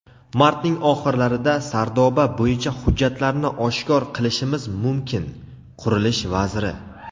"Martning oxirlarida Sardoba bo‘yicha hujjatlarni oshkor qilishimiz mumkin" – qurilish vaziri.